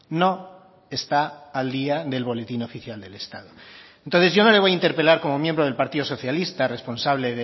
no está al día del boletín oficial del estado entonces yo no le voy a interpelar como miembro del partido socialista responsable